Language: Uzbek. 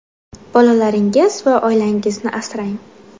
Bolalaringiz va oilangizni asrang.